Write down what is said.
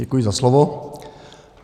Děkuji za slovo.